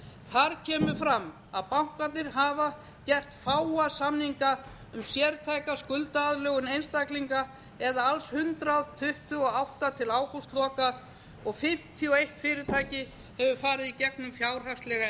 þar kemur fram að bankarnir hafa gert fáa samninga um sértæka skuldaaðlögun einstaklinga alls hundrað tuttugu og átta til ágústloka fimmtíu og eitt fyrirtæki hefur farið í gegnum fjárhagslega